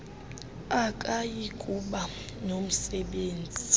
akayi kuba nomsebenzi